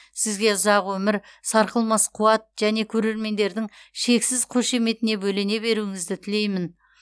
сізге ұзақ өмір сарқылмас қуат және көрермендердің шексіз қошеметіне бөлене беруіңізді тілеймін